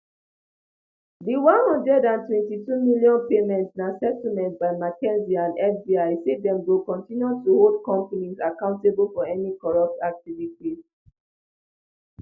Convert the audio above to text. di um one hundred and twenty-two million payment na settlement by mckinsey and fbi say dem go continue to hold companies accountable for any corrupt activities